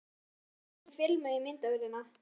Af hverju átti ég ekki filmu í myndavélina?